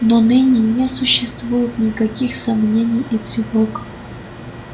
но ныне не существует никаких сомнений и тревог